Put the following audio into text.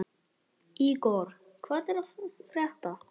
Ígor, hvað er að frétta?